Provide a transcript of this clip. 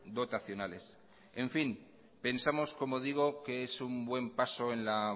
dotacionales en fin pensamos como digo que es un buen paso en la